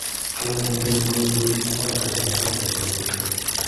Kaimutyoni koiburee aroweek chechang' saait ake kosoiti